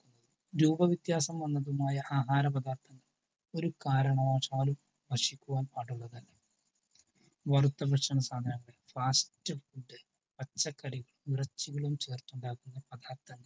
രൂപവ്യത്യാസം വന്നതുമായ ആഹാര പദാർത്ഥങ്ങൾ ഒരു കാരണവശാലും ഭക്ഷിക്കുവാൻ പാടുള്ളതല്ല. വറുത്ത ഭക്ഷണ സാധനങ്ങൾ ഫാസ്റ്റ് ഫുഡ് പച്ചക്കറി ഇറച്ചികളും ചേർത്തുണ്ടാക്കുന്ന പദാർത്ഥങ്ങൾ